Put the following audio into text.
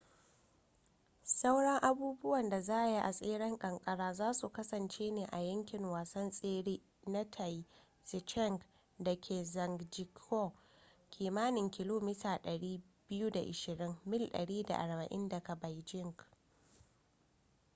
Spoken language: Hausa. sauran abubuwan da za a yi a tseren kankara za su kasance ne a yankin wasan tsere na taizicheng da ke zhangjiakou kimanin kilomita 220 mil mil 140 daga beijing